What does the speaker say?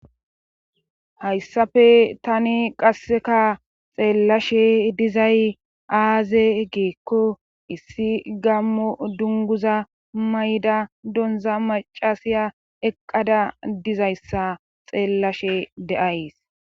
hayssafe tani qasseka xeellashe dizay aaze giikko issi gammo dunguza mayida donza macasiya eqqada dizayssa xeellashe de7ays.